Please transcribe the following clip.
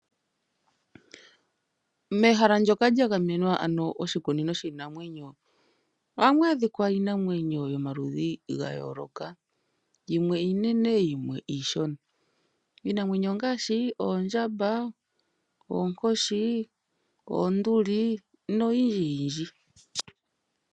Mehala ndyoka lyagamenwa ano oshikunino shiinamwenyo ohamu adhika iinamwenyo yomaludhi gayooloka, yimwe iinene yimwe iishona. Iinamwenyo ongaashi oondjamba, oonkoshi, oonduli noyindji yindji.